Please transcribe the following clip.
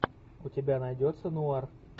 у тебя найдется нуар